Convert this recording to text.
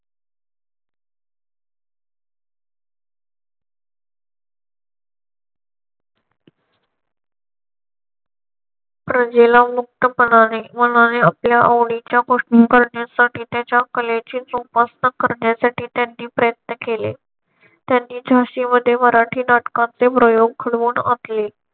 प्रजेला मुक्त पणाने मनाने आपल्या आवडीच्या गोष्टी करण्यासाठी त्यांच्या कलेची जोपासना करण्यासाठी त्यांनी प्रयत्न केले. त्यांनी झाशी मध्ये मराठी नाटकाचे प्रयोग घडवून आणले.